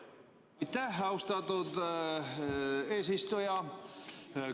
Aitäh, austatud eesistuja!